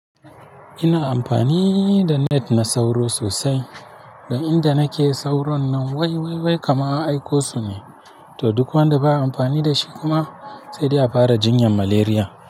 Ina amfani da net na sauro sosai. Dan inda nake sauron nan wai, wai, wai! Kama an aiko su ne. To duk wanda baya amfani da shi kuma, sai dai a fara jinyan malaria.